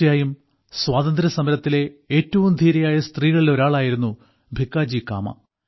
തീർച്ചയായും സ്വാതന്ത്ര്യസമരത്തിലെ ഏറ്റവും ധീരയായ സ്ത്രീകളിൽ ഒരാളായിരുന്നു ഭിക്കാജി കാമ